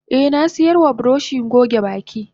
Eh nasiyarwa buroshi goge baki.